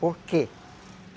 Por quê?